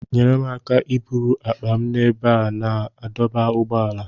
Nyere m aka iburu akpa m n'ebe a na-adọba ụgbọala.